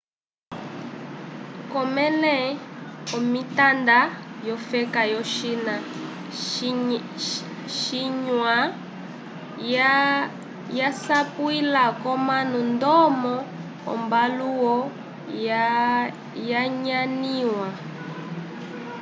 k'omẽle omitanda yofeka yo-china xinhua yasapwila k'omanu ndomo ombalãwu yanyanĩwa